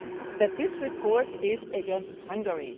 that this report is against Hungary.